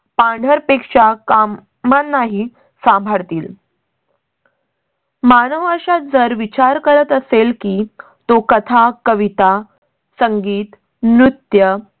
पांढर पेशा कामा. ना ही सांभाळतील. मानव अशात जर विचार करत असेल की तो कथा, कविता, संगीत, नृत्य